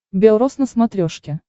белрос на смотрешке